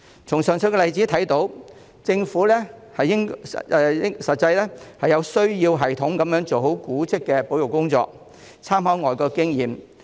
從上述例子可見，政府實際上需要有系統地做好古蹟的保育工作，並參考外國經驗。